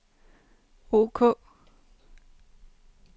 ok